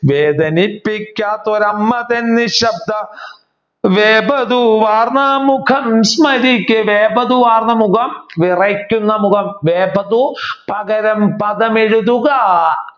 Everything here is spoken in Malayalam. വേദനിപ്പിക്കാത്തൊരു അമ്മ തൻ നിശബ്ദ വേപതു വാർന്ന മുഖം സ്മരിക്കേ വേപതു വാർന്ന മുഖം വിറയ്ക്കുന്ന മുഖം. വേപതു പകരം പകമെഴുതുക